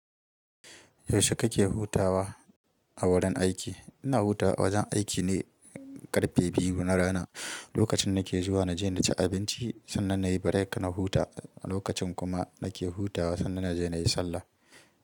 Yaushe kake hutawa a wurin aiki? Ina hutawa wajen aiki ne ƙarfe biyu na rana. Lokacin nake zuwa na je na ci abinci, sannan na yi break na huta. Lokacin kuma nake hutawa, sannan na je na yi sallah.